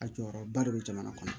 A jɔyɔrɔba de bɛ jamana kɔnɔ